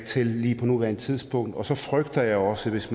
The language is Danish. til lige på nuværende tidspunkt og så frygter jeg også at hvis